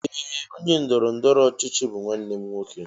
Ee! Onye ndọrọ ndọrọ ọchịchị bụ nwanne m nwoke.